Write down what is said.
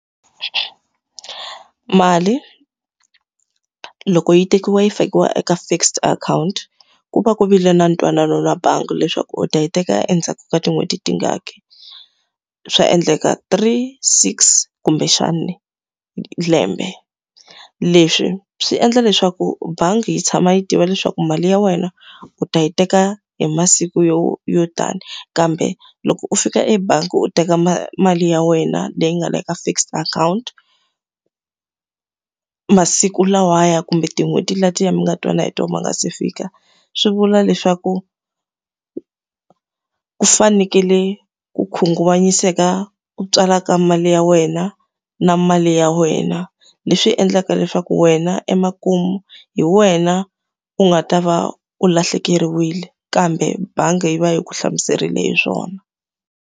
Mali loko yi tekiwa yi fakiwa eka fixed account, ku va ku vile na ntwanano na bangi leswaku u ta yi teka endzhaku ka tin'hweti tingani. Swa endleka three, six, kumbexani lembe. Leswi swi endla leswaku bangi yi tshama yi tiva leswaku mali ya wena u ta yi teka hi masiku yo yo tani. Kambe loko u fika ebangi u teka mali ya wena leyi nga le ka fixed account masiku lawaya kumbe tin'hweti letiya mi nga twana hi tona ti nga se fika, swi vula leswaku u fanekele ku khunguvanyiseka u tswalaka mali ya wena, na mali ya wena. Leswi endlaka leswaku wena emakumu hi wena u nga ta va u lahlekeriwile, kambe bangi yi va yi ku hlamuserile hi swona.